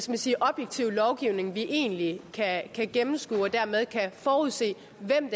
vi sige objektiv lovgivning vi egentlig kan kan gennemskue og dermed kan forudse hvem